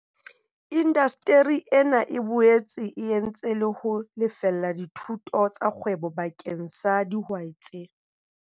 Indasteri ena e boetse e entse le ho lefella dithuto tsa kgwebo bakeng sa dihwai tse.